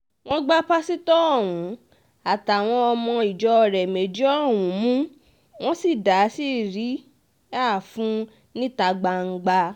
wọ́n gba pásítọ̀ ọ̀hún àtàwọn ọmọ ìjọ rẹ̀ méjì ọ̀hún mú wọ́n sì dá síríà fún un níta gbangba